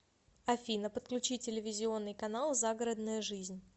афина подключи телевизионный канал загородная жизнь